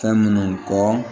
Fɛn minnu kɔ